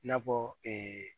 I n'a fɔ